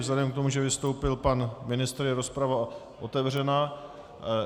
Vzhledem k tomu, že vystoupil pan ministr, je rozprava otevřena.